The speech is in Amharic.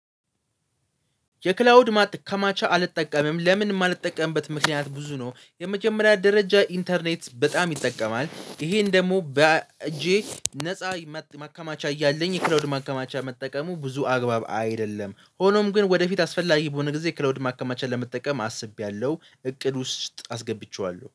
የክላውድ ማከማቻ አልጠቀምም። ለምን የማልጠቀምበት ምክንያት ብዙ ነው የመጀመሪያ ደረጃ ኢንተርኔት በጣም ይጠቀማል ይሄን ደግሞ በእጄ ነፃ ማከማቻ እያለኝ ክላውድ ማከማቻ መጠቀሙ ብዙ አግባብ አይደለም። ሆኖም ግን ወደፊት አስፈላጊ በሆነ ጊዜ ክላውድ ማከማቻ ለመጠቀም አስቤያለሁ። እቅድ ውስጥ አስገብቼዋለሁ